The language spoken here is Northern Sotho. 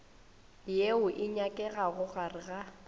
yeo e nyakegago gare ga